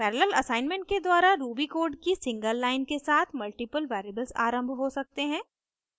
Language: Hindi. parallel assignment के द्वारा ruby कोड की सिंगल लाइन के साथ मल्टीपल वेरिएबल्स आरम्भ हो सकते हैं